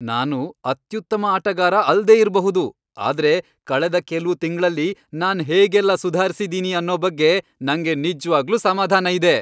ನಾನು ಅತ್ಯುತ್ತಮ ಆಟಗಾರ ಅಲ್ದೇ ಇರ್ಬಹುದು ಆದ್ರೆ ಕಳೆದ ಕೆಲ್ವು ತಿಂಗ್ಳಲ್ಲಿ ನಾನ್ ಹೇಗೆಲ್ಲ ಸುಧಾರ್ಸಿದೀನಿ ಅನ್ನೋ ಬಗ್ಗೆ ನಂಗೆ ನಿಜ್ವಾಗ್ಲೂ ಸಮಾಧಾನ ಇದೆ.